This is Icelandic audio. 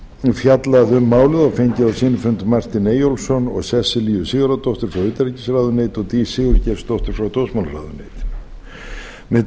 fjallað um málið og fengið á sinn fund martin eyjólfsson og sesselju sigurðardóttur frá utanríkisráðuneyti og dís sigurgeirsdóttur frá dómsmálaráðuneyti með